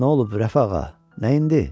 Hə, nə olub, Rəfağa, nəyindi?